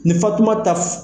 Ni fatumata